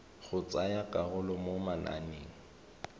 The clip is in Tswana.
go tsaya karolo mo mananeng